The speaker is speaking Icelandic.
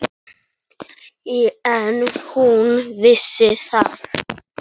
En hún vissi það.